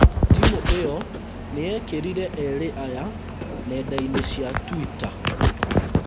Timũ ĩyo nĩyekĩrire eerĩ aya nenda inĩ cia Twitter